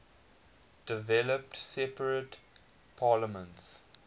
developed separate parliaments